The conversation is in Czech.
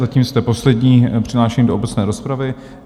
Zatím jste poslední přihlášený do obecné rozpravy.